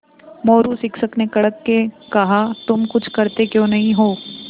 मोरू शिक्षक ने कड़क के कहा तुम कुछ करते क्यों नहीं हो